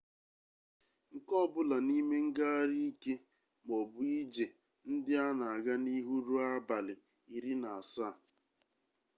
nke ọbụla n'ime ngagharị ike maọbụ ije ndị a na-aga n'ihu ruo abalị 17